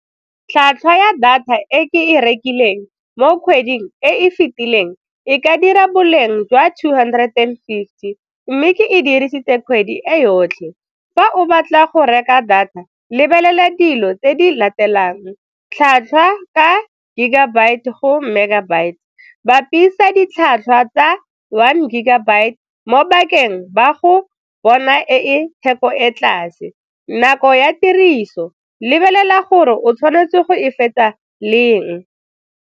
Tlhwatlhwa ya data e ke e rekileng mo kgweding e e fetileng e ka dira boleng jwa two hundred and fifty mme ke e dirisitse kgwedi e yotlhe. Fa o batla go reka data lebelela dilo tse di latelang, tlhatlhwa ka gigabyte go megabyte, bapisa ditlhwatlhwa tsa one gigabyte mo 'bakeng ba go bona e e theko e ko tlase, nako ya tiriso, lebelela gore o tshwanetse go e fetsa leng.